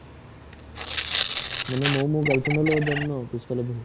মানে মইও মোৰ girlfriend ৰ লগত যাম ন, পিছফালে বহি